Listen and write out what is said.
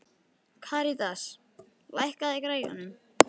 Karítas, lækkaðu í græjunum.